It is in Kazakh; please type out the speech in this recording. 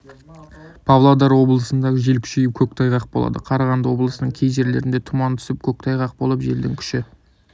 павлодар облысында жел күшейіп көктайғақ болады қарағанды облысының кей жерлерінде тұман түсіп көктайғақ болып желдің күші